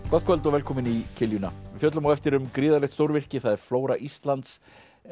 gott kvöld og velkomin í kiljuna við fjöllum á eftir um gríðarlegt stórvirki það er flóra Íslands